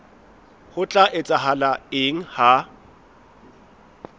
ho tla etsahala eng ha